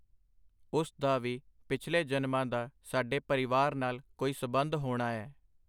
ਉਸ ਦਾ ਵੀ ਪਿਛਲੇ ਜਨਮਾਂ ਦਾ ਸਾਡੇ ਪਰਿਵਾਰ ਨਾਲ ਕੋਈ ਸਬੰਧ ਹੋਣਾ ਐ.